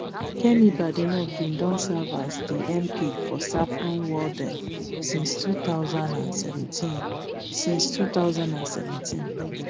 kemi badenoch bin don serve as di mp for saffron walden since two thousand and seventeen since two thousand and seventeen